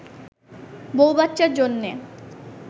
বউ-বাচ্চার জন্যে